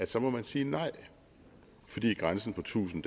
så må sige nej fordi grænsen på tusind